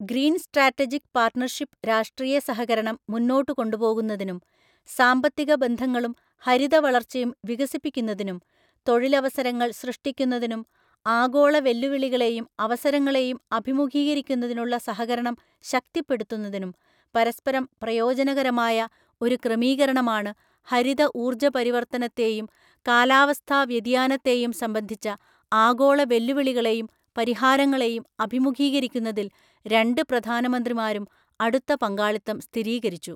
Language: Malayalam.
ഗ്രീന്‍ സ്ട്രാറ്റജിക് പാർട്ണർഷിപ്പ് രാഷ്ട്രീയസഹകരണം മുന്നോട്ട്കൊണ്ടുപോകുന്നതിനും സാമ്പത്തിക ബന്ധങ്ങളും ഹരിതവളർച്ചയും വികസിപ്പിക്കുന്നതിനും തൊഴിലവസരങ്ങള്‍ സൃഷ്ടിക്കുന്നതിനും ആഗോള വെല്ലുവിളികളെയും അവസരങ്ങളെയും അഭിമുഖീകരിക്കുന്നതിനുള്ള സഹകരണം ശക്തിപ്പെടുത്തുന്നതിനും പരസ്പരം പ്രയോജനകരമായ ഒരു ക്രമീകരണമാണ് ഹരിത ഊർജ്ജ പരിവർത്തനത്തെയും കാലാവസ്ഥാവ്യതിയാനത്തെയും സംബന്ധിച്ച ആഗോളവെല്ലുവിളികളെയും പരിഹാരങ്ങളെയും അഭിമുഖീകരിക്കുന്നതില്‍ രണ്ട് പ്രധാനമന്ത്രിമാരും അടുത്ത പങ്കാളിത്തം സ്ഥിരീകരിച്ചു.